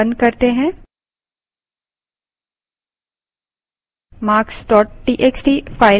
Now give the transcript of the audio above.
इस file को बंद करें